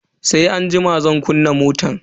Sai anjima zan kunna motan.